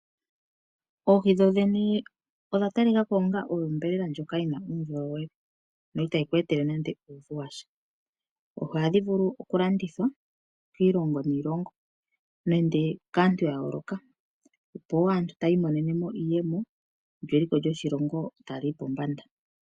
Oohi dho dhene odhatalikako onga onyama ndjoka yina uundjolowele yo itayiku etele nando uuvu washa, oohi ohadhi vulu okulandithwa kiilongo niilongo nenge kaantu yayooloka, opo aantu yi imonene iiyemo lyo eliko lyoshilongo taliyi pombanda.